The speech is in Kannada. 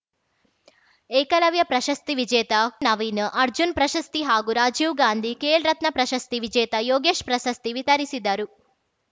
ಏಕಲವ್ಯ ಪ್ರಶಸ್ತಿ ವಿಜೇತ ನವೀನ್‌ ಅರ್ಜುನ್‌ ಪ್ರಶಸ್ತಿ ಹಾಗೂ ರಾಜೀವ್‌ ಗಾಂಧಿ ಖೇಲ್‌ ರತ್ನ ಪ್ರಶಸ್ತಿ ವಿಜೇತ ಯೋಗೇಶ್‌ ಪ್ರಶಸ್ತಿ ವಿತರಿಸಿದರು